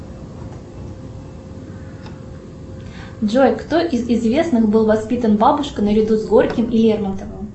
джой кто из известных был воспитан бабушкой наряду с горьким и лермонтовым